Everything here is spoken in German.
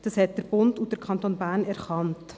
Das haben der Bund und der Kanton Bern erkannt.